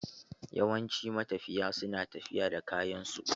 Yawancin matafiya su na tafiya da kayan su.